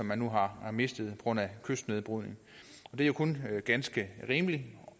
man nu har mistet grund af kystnedbrydning det er jo kun ganske rimeligt